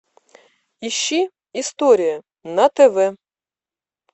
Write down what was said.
ищи история на тв